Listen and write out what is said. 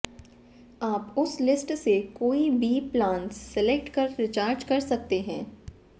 आप उस लिस्ट से कोई बी प्लान्स सलेक्ट कर रिचार्ज कर सकते हैं